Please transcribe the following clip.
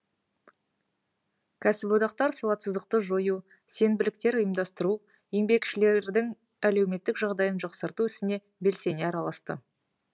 кәсіподақтар сауатсыздықты жою сенбіліктер ұйымдастыру еңбекшілердің әлеуметтік жағдайын жақсарту ісіне белсене араласты